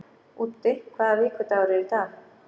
Úddi, hvaða vikudagur er í dag?